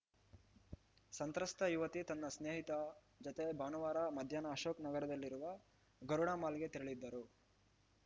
ಸಂತ್ರಸ್ತ ಯುವತಿ ತನ್ನ ಸ್ನೇಹಿತೆ ಜತೆ ಭಾನುವಾರ ಮಧ್ಯಾಹ್ನ ಅಶೋಕ್‌ ನಗರದಲ್ಲಿರುವ ಗರುಡ ಮಾಲ್‌ಗೆ ತೆರಳಿದ್ದರು